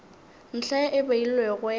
ntlha ye e beilwego ya